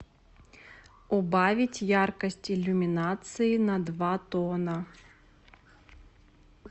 убавить яркость иллюминации на два тона